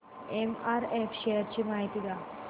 MRF shares ची माहिती द्या